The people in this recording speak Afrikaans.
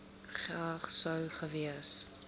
geag sou gewees